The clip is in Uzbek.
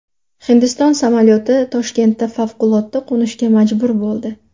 Hindiston samolyoti Toshkentda favqulodda qo‘nishga majbur bo‘ldi.